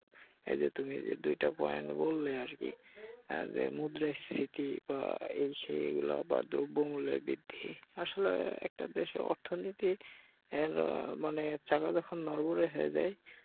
এইযে তুমি যে দুইটা পয়েন্ট বললে আরকি যে মুদ্রাস্ফীতি বা এই সেই এগুলা বা দ্রব্যমুল্যের বৃদ্ধি আসলে একটা দেশের অর্থনীতির এর মানে চাকা যখন নড়বড়ে হয়ে যায়